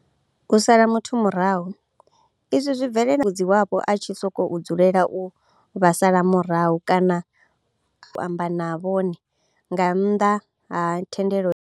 U sala muthu murahu, izwi zwi bvelela musi mutambudzi wavho a tshi sokou dzulela u vha sala murahu kana a kombetshedza u amba na vhone nga nnḓa ha thendelo yavho.